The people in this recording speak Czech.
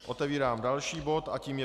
Otevírám další bod a tím je